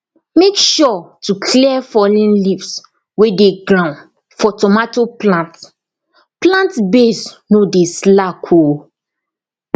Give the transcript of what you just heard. make sure to clear fallen leaves wey dey ground for tomato plant plant base no dey slack o